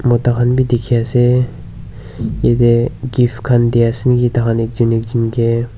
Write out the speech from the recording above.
Mota khan bhi dekhi ase jatte chief khan bhi ase te ase niki tar khan ekjon ekjon ke--